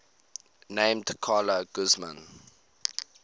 named carla guzman